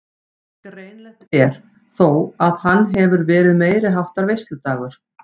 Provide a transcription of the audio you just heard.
Greinilegt er þó að hann hefur verið meiriháttar veisludagur.